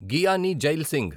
Giani Zail Singh